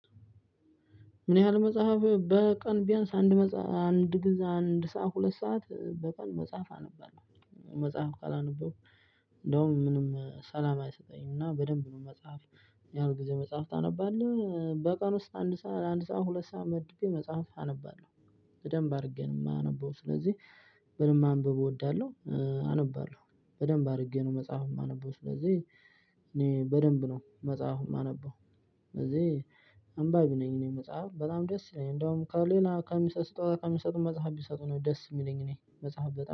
ምን ያህል መጸሀፍ በቀን ቢያንስ አንድ ሰዓት ሁለት ሰዓት በቀን መጸሃፍ አነባለሁ መጸሃፍ ካላነበብኩ እንዲያውም ምንም ሰላም አይሰጠኝም እና በደንብ ነው መጸሀፍ። ምን? ያህል ጊዜ መጽሐፍ ታነባለህ በቀን ውስጥ አንድ ሰዓት አንድ ሰዓት ሁለት ሰዓት መድቤ መጽሐፍ አነባለሁ በደንብ አድርጌ ነው። እማነበው ስለዚህ በደንብ ማንበብ እወዳለሁ። አነባለሁ በደንብ አድርጌ ነው መጽሐፉን እማነበው ስለዚህ እኔ በደንብ ነው መጽሐፍ እማነበው። ስለዚህ አንባቢ ነኝ። እኔ መጽሐፍ በጣም ደስ ይለኛል እንደውም ከሌላ ከሚሰጥ ስጦታ ከሚሰጡኝ መጽሐፍ ቢሰጡኝ ነው ደስ እሚለኝ እኔ መጽሐፍ በጣም